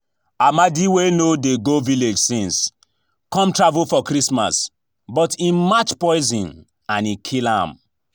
Amadi wey no dey go village since, come travel for christmas but im match poison and e kill am